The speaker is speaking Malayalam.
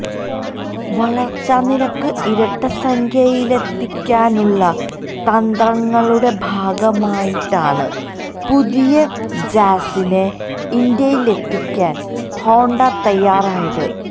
വളർച്ചാനിരക്ക് ഇരട്ടസംഖ്യയിലെത്തിക്കാനുള്ള തന്ത്രങ്ങളുടെ ഭാഗമായിട്ടാണ് പുതിയ ജാസ്സിനെ ഇന്ത്യയിലെത്തിക്കാൻ ഹോണ്ട തയ്യാറായത്